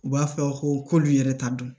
U b'a fɔ ko k'olu yɛrɛ ta dɔn